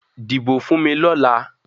Dibo fun mi ni ọla!